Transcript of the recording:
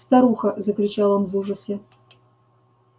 старуха закричал он в ужасе